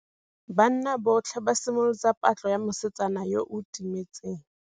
Banna botlhê ba simolotse patlô ya mosetsana yo o timetseng.